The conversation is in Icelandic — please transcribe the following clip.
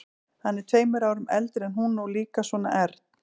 Hann er tveimur árum eldri en hún og líka svona ern.